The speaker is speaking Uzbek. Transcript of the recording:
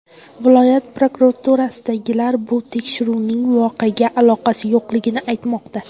Viloyat prokuraturasidagilar bu tekshiruvning voqeaga aloqasi yo‘qligini aytmoqda.